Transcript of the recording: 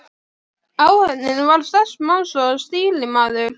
Áhöfnin var sex manns og stýrimaður.